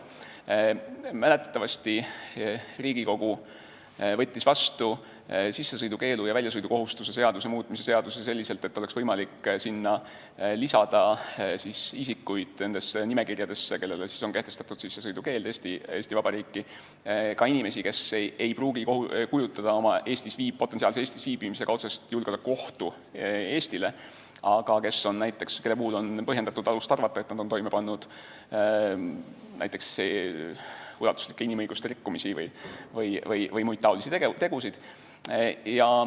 Mäletatavasti Riigikogu võttis vastu väljasõidukohustuse ja sissesõidukeelu seaduse muutmise seaduse selliselt, et oleks võimalik lisada nimekirjadesse, kus on kirjas need, kellele on kehtestatud Eesti Vabariiki sissesõidu keeld, ka inimesi, kelle viibimine Eestis ei pruugi endast kujutada otsest julgeolekuohtu Eestile, aga kelle puhul on alust arvata, et nad on toime pannud näiteks ulatuslikke inimõiguste rikkumisi või muid taolisi tegusid.